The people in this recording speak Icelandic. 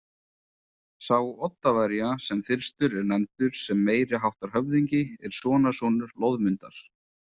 Sá Oddaverja sem fyrstur er nefndur sem meiri háttar höfðingi er sonarsonur Loðmundar.